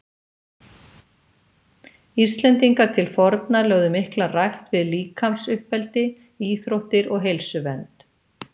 Íslendingar til forna lögðu mikla rækt við líkamsuppeldi, íþróttir og heilsuvernd.